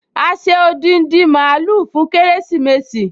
A ṣe odindi mààúlù fún kérésìmesì